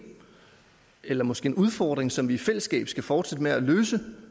eller måske en udfordring som vi i fællesskab skal fortsætte med at løse